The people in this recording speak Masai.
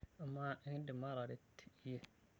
Amaa, enkidim aataret iyie?